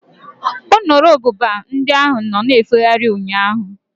Nru ububa ndị ahụ nọ na-efegharị ụnyaahụ.